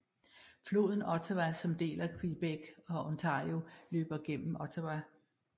Floden Ottawa som deler Quebec og Ontario løber gennem Ottawa